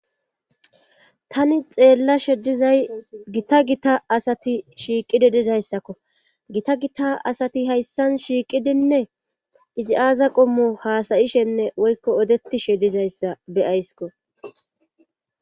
tani xeellashe dizay gita gita asati shiiqidi dizayssakko gita gita asati hayssan shiiqidinne izi aaza qommo haasayishenne woykko odetishe dizayssa be'ayskko